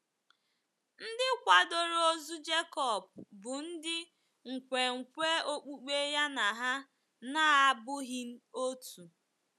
Ndị kwadoro ozu Jekọb bụ ndị nkwenkwe okpukpe ya na ha na - abụghị otu.